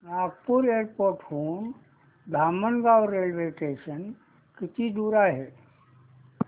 Nagpur airport हून Dhamangaon railway station किती दूर आहे